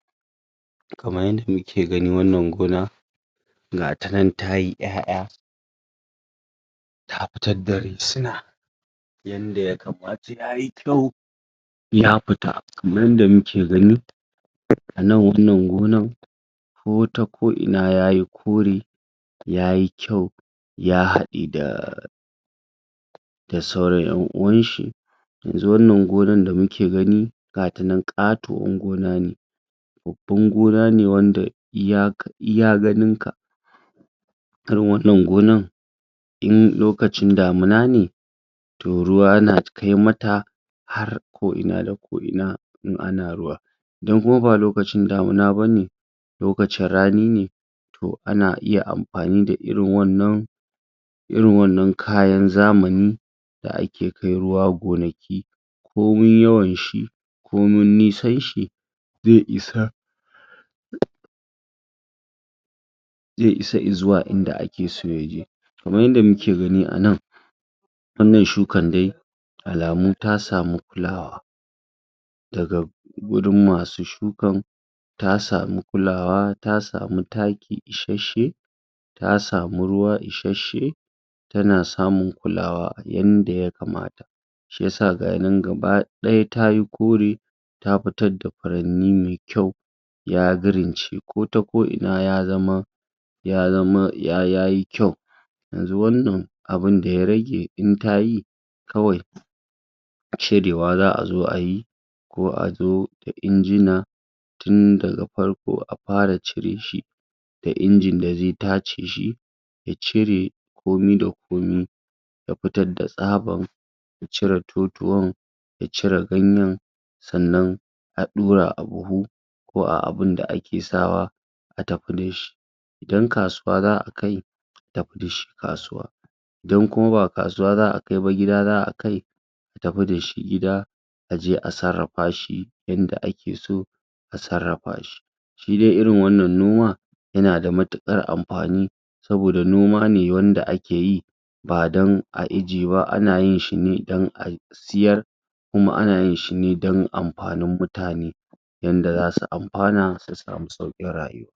kamar yanda muke gani wannan gona gata nan tayi 'ya 'ya ta fitar da risina yanda ya kamata yayi kyau ya fita kamar yanda muke gani nan wannan gonar ko ta ko ina yayi kore yayi kyau ya haɗe da da sauran 'yan uwan shi yanzu wannan gonar da muke gani gata nan katuwar gona ne babbban gona ne wanda iya ganin ka irin wannan gonan in lokacin damuna ne to ruwa yana kai mata har ko ina da ko ina in ana ruwa idan kuma ba lokacin da muna bane lokacin rani ne to ana iya amfani da irin wannan irin wannan kayan zamani da ake kaiwa gonaki komai yawan shi komin nisan shi zai isa zai isa i zuwa inda ake so yaje kaman yanda nake gani anan wannan shukan dai alamu ta samu kula wa daga gurin masu shukan ta samu kula wa ta samu taki ishashasshe ta samu ruwa ishashasshe tana samun kula wa yanda ya kamata shiyasa ga nan gaba daya tayi guri ta fitar da furanni mai kyau ya girince ko ta ko ina ya zama yayi kyau yanzu wannan abunda ya rage in tayi kawai cire wa za'a zo ayi ko a dau injina tun daga farko a fara cire shi akwai inji da zai tace shi ya cire komai da komai ya fitar da tsabar cire totuwar ya cire ganyen sannan a ɗura a buhu ko a abunda ake sa wa a tafi dashi an kasuwa za'a kai tafi dashi kasuwa idan kuma ba kasuwa za'a kai ba gida za'a kai a tafi dashi gida ajeh a sarrafa shi yanda ake so a sarrafa shi shi dai irn wannan noma yanada matikar amfani saboda noma ne wanda ake yi ba dan a ijiye ba ana yin shi ne dan a siyar kuma ana yin shi ne dan amfanin mutane yanda zasu amfana su samu saukin rayuwa